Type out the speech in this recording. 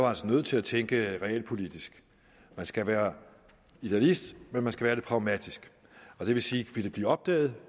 altså nødt til at tænke realpolitisk man skal være idealist men man skal være det pragmatisk og det vil sige vil det blive opdaget